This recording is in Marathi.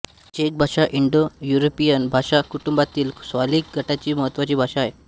चेक भाषा इंडोयुरोपियन भाषाकुटुंबातील स्लाविक गटाची महत्त्वाची भाषा आहे